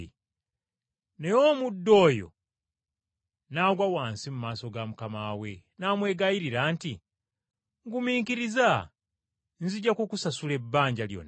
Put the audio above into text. “Naye omuddu oyo n’agwa wansi mu maaso ga mukama we, n’amwegayirira nti, ‘Ngumiikiriza, nzija kukusasula ebbanja lyonna.’